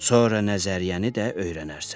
Sonra nəzəriyyəni də öyrənərsən.